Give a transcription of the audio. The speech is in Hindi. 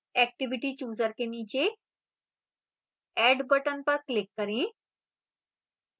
activity chooser के नीचे add button पर click करें